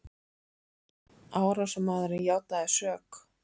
Árásarmaðurinn játaði sök